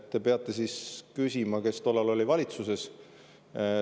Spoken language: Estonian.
Te peate küsima, kes tollal oli valitsuses.